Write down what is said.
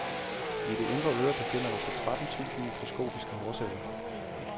I det indre øre befinder der sig tretten tusind mikroskopiske hårceller.